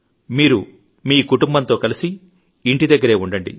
మీరు మీ కుటుంబంతో కలిసి ఇంటి దగ్గరే ఉండండి